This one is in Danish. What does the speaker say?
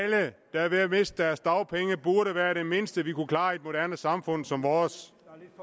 der er ved at miste deres dagpenge burde være det mindste vi kunne klare i et moderne samfund som vores